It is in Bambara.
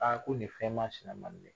ko nin fɛn masina